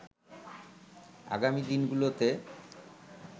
আগামী দিনগুলোতে